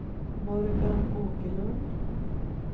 Morgan Åkerlund